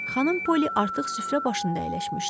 Xanım Poli artıq süfrə başında əyləşmişdi.